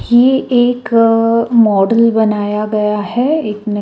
ये एक अ मॉडल बनाया गया है एक--